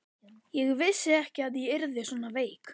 Ég vissi ekki að ég yrði svona veik.